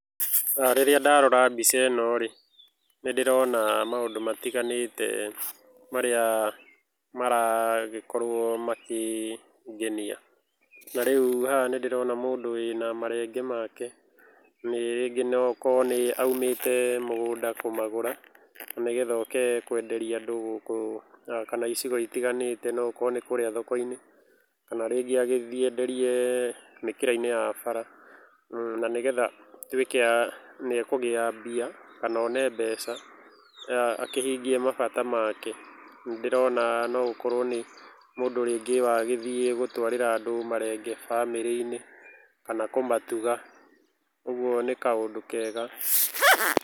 Rĩrĩa ndarora mbica ĩno rĩ, nĩ ndĩrona maũndũ matiganĩte marĩa maragĩkorũo makĩngenia. Na rĩu haha nĩ ndĩrona mũndũ wĩna marenge make, rĩngĩ no gũkorũo oimĩte mũgũnda kũmagũra nĩgetha oke kwenderia andũ gũkũ kana icigo itiganĩte no gũkorwo nĩ kũrĩa thoko-inĩ kana rĩngĩ agĩthiĩ enderie mĩkĩra-inĩ ya bara, na nĩgetha atuĩke nĩ ekũgĩa mbia kana one mbeca akĩhingie mabata make. Nĩ ndĩrona nogũkorũo nĩ mũndũ rĩngĩ wagĩthiĩ gũtwarĩra andũ marenge famĩlĩ-inĩ kana kũmatuga. Ũguo nĩ kaũndũ kega.